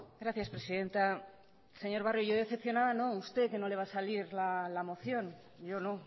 gracias presidenta señor barrio yo decepcionada no usted que no le va a salir la moción yo no